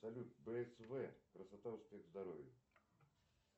салют бсв красота успех здоровье